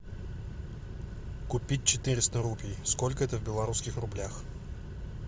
купить четыреста рупий сколько это в белорусских рублях